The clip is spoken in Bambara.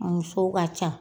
Muso ka ca.